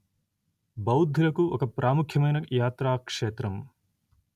బౌద్ధులకు ఒక ప్రాముఖ్యమైన యాత్రాక్షేత్రం